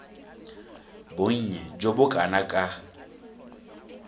bonnye jo bo kana ka